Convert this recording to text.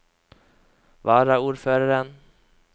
varaordføreren